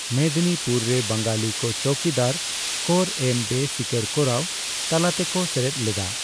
ᱢᱮᱫᱱᱤᱯᱩᱨ ᱨᱮ, ᱵᱟᱝᱟᱞᱤ ᱠᱚ ᱪᱚᱣᱠᱤᱫᱟᱨ ᱠᱚᱨ ᱮᱢ ᱵᱮᱼᱥᱤᱠᱟᱹᱨ ᱠᱚᱨᱟᱣ ᱛᱟᱞᱟᱛᱮ ᱠᱚ ᱥᱮᱞᱮᱫ ᱞᱮᱫᱟ ᱾